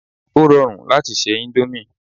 Ó rọrùn láti se índómì